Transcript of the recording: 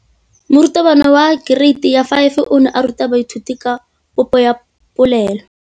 Moratabana wa kereiti ya 5 o ne a ruta baithuti ka popô ya polelô.